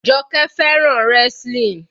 Joke fẹ́ràn wrestling.